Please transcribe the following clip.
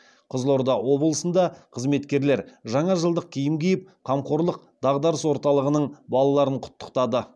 қызылорда облысында қызметкерлер жаңа жылдық киім киіп қамқорлық дағдарыс орталығының балаларын құттықтады